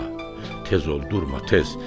Bala, tez ol, durma, tez.